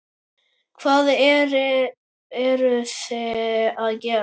Hvað eruði að gera?